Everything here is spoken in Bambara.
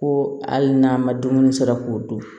Ko hali n'an ma dumuni sɔrɔ k'o dun